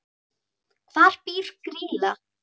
Hvar býr Grýla?